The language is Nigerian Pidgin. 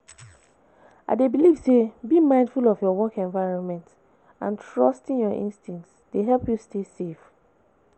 I dey believe say being mindful of your work environment and trusting your instincts dey help you stay safe.